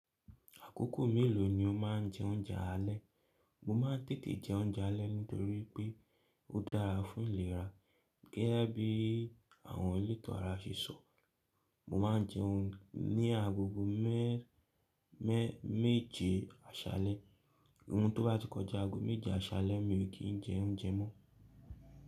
Àkókò mélòó ni o máa ń jẹ oúnjẹ alẹ́? Mo máa ń tètè jẹ oúnjẹ alẹ́ nítorí pé ó dára fún ìlera gẹ́gẹ́ bí àwọn elétò ara ṣe sọ. Mo máa ń jẹun ní agogo mẹ́, mẹ́, méje àṣalẹ́, ohun tó bá ti kọjá ago méje àṣalẹ́ mi ò kì í jẹ oúnjẹ mọ́.